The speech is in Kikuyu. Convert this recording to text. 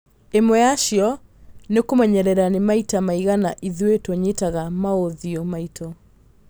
Ĩmwe yacio nĩ kũmenyerera nĩ maita maigana ithuĩ tũnyitaga maũthiũ maitũ